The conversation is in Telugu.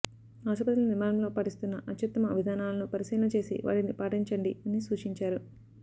ఆస్పత్రుల నిర్మాణంలో పాటిస్తున్న అత్యుత్తమ విధానాలను పరిశీలన చేసి వాటిని పాటించండని సూచించారు